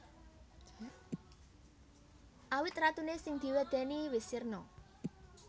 Awit ratuné sing diwedèni wis sirna